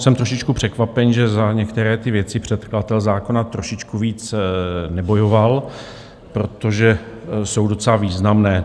Jsem trošičku překvapen, že za některé ty věci předkladatel zákona trošičku víc nebojoval, protože jsou docela významné.